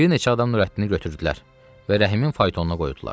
Bir neçə adam Nurəddini götürdülər və Rəhimin faytonuna qoydular.